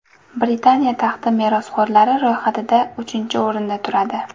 Britaniya taxti merosxo‘rlari ro‘yxatida uchinchi o‘rinda turadi.